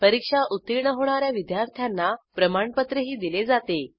परीक्षा उत्तीर्ण होणा या विद्यार्थ्यांना प्रमाणपत्रही दिले जाते